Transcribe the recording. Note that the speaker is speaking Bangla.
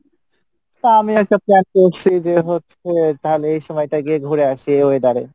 তা আমিও একটা plan করসি যে হচ্ছে তাহলে এই সময় টা গিয়ে ঘুরে আসি এই weather এ